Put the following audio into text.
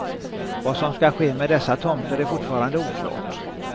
Vad som skall ske med dessa tomter är fortfarande oklart.